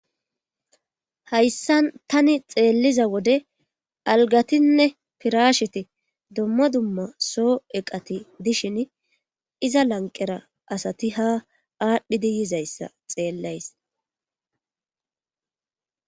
hayssan tani xeelliza wode algatinne pirasheti dommo dumma soo eqati dishin iza lanqera asati ha aadhdhidi yizayssa xeellays